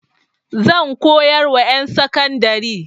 Zan koyar wa ƴan sakandari.